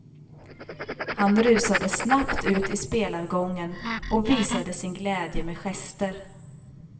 Han rusade snabbt ut i spelargången och visade sin glädje med gester.